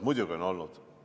Muidugi on olnud!